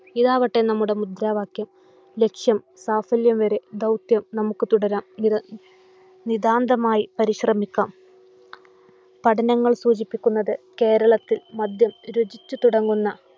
ഇതാവട്ടെ നമ്മുടെ മുദ്രാവാക്യം. ലക്ഷ്യം സാഫല്യം വരെ ദൗത്യം നമുക്ക് തുടരാം. നിതാ നിതാന്തമായി പരിശ്രമിക്കാം. പഠനങ്ങൾ സൂചിപ്പിക്കുന്നത് കേരളത്തിൽ മദ്യം രുചിച്ചു തുടങ്ങുന്ന